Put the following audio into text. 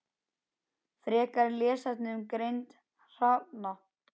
Frekari lesefni um greind hrafna